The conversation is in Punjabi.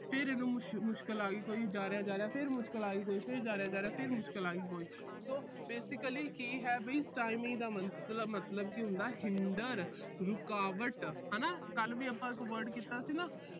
ਫਿਰ ਇਹਨੂੰ ਮੁਸ਼ ਅਹ ਮੁਸ਼ਕਲ ਆ ਗਈ ਕੋਈ। ਫਿਰ ਜਾ ਰਿਹਾ, ਜਾ ਰਿਹਾ, ਫਿਰ ਮੁਸ਼ਕਲ ਆ ਗਈ ਕੋਈ। ਫਿਰ ਜਾ ਰਿਹਾ, ਜਾ ਰਿਹਾ, ਫਿਰ ਮੁਸ਼ਕਲ ਆ ਗਈ ਕੋਈ। so basically ਕੀ ਹੈ ਵੀ stymie ਦਾ ਮੰਤ ਅਹ ਮਤਲਬ ਕੀ ਹੁੰਦਾ hinder ਰੁਕਾਵਟ ਹਨਾ ਕੱਲ੍ਹ ਵੀ ਆਪਾ ਇੱਕ word ਕੀਤਾ ਸੀ ਨਾ।